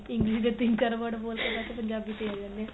English ਦੇ ਤਿੰਨ ਚਾਰ word ਬੋਲ ਕੇ ਪੰਜਾਬੀ ਤੇ ਆ ਜਾਂਦੇ ਆ